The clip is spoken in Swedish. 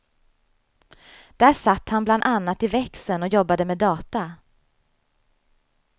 Där satt han bland annat i växeln och jobbade med data.